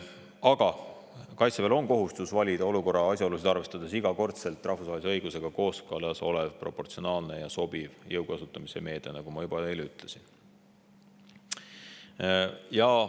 Aga Kaitseväel on kohustus iga kord valida olukorra asjaolusid arvestades rahvusvahelise õigusega kooskõlas olev proportsionaalne ja sobiv jõu kasutamise meede, nagu ma juba ütlesin.